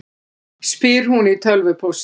spyr hún í tölvupósti.